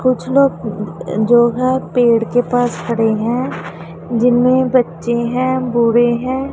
कुछ लोग जो हैं पेड़ के पास खड़े हैं जिनमें बच्चे हैं बुढे हैं।